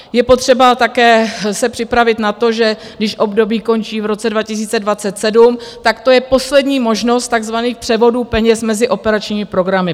Je potřeba také se připravit na to, že když období končí v roce 2027, tak to je poslední možnost takzvaných převodů peněz mezi operačními programy.